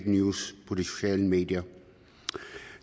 news på de sociale medier